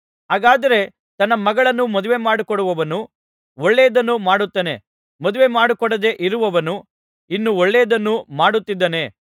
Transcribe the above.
ಹಾಗಾದರೆ ತನ್ನ ಮಗಳನ್ನು ಮದುವೆಮಾಡಿಕೊಡುವವನು ಒಳ್ಳೆಯದನ್ನು ಮಾಡುತ್ತಾನೆ ಮದುವೆಮಾಡಿಕೊಡದೆ ಇರುವವನು ಇನ್ನೂ ಒಳ್ಳೆಯದನ್ನು ಮಾಡುತ್ತಿದ್ದಾನೆ